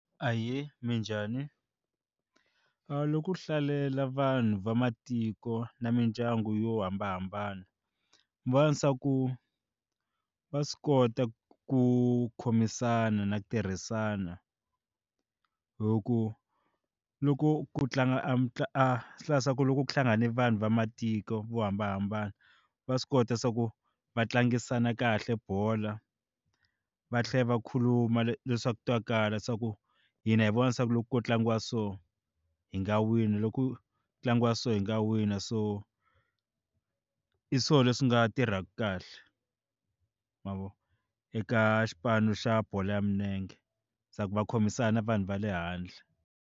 Ahee, minjhani? loko u hlalela vanhu va matiko na mindyangu yo hambanahambana va na swa ku va swi kota ku khomisana na ku tirhisana hi ku loko ku tlanga ku hlangane vanhu va matiko vo hambanahambana va swi kota swa ku va tlangisana kahle bola va tlhela va khuluma leswaku twakala swa ku hina hi vona leswaku loko ku tlangiwa so hi nga wina loko ku tlangiwa so hi nga wina so hi swo leswi nga tirhaka kahle ma vo eka xipano xa bolo ya milenge swa ku va khomisana vanhu va le handle.